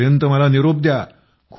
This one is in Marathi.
तोपर्यंत मला निरोप द्या